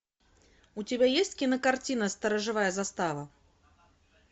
у тебя есть кинокартина сторожевая застава